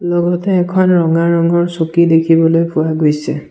লগতে এখন ৰঙা ৰঙৰ চকী দেখিবলৈ পোৱা গৈছে।